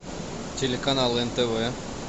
телеканал нтв